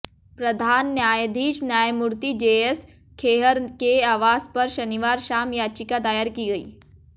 प्रधान न्यायाधीश न्यायमूर्ति जेएस खेहर के आवास पर शनिवार शाम याचिका दायर की गई